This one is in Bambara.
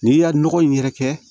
N'i y'a nɔgɔ in yɛrɛ kɛ